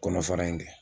Kɔnɔ fara in kɛ